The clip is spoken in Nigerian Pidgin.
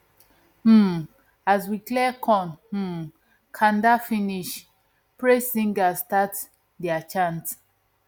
um as we clean corn um kanda finish praise singers start dia chant